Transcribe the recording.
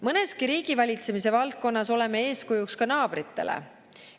Mõneski riigivalitsemise valdkonnas oleme eeskujuks ka naabritele.